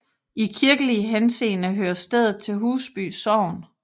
I kirkelig henseende hører stedet til Husby Sogn